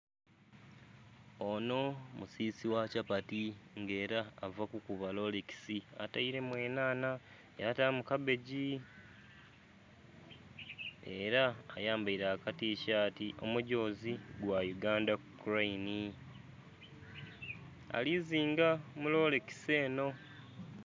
Onho musisi ghakyapati nga era ava kukuba lolekisi aterimu enhanha, yatamu kabbegi nga era ayambere akatishati omugyozi gwa uganda kulanhi alizinga mulolekisi enho.